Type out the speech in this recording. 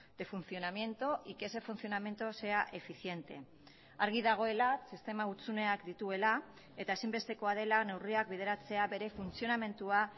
de funcionamiento y que ese funcionamiento sea eficiente argi dagoela sistema hutsuneak dituela eta ezinbestekoa dela neurriak bideratzea bere funtzionamendua